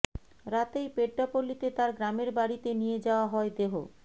রাতেই পেড্ডাপল্লিতে তাঁর গ্রামের বাড়িতে নিয়ে যাওয়া হয় দেহ